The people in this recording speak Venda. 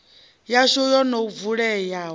yashu yo no vuleyaho i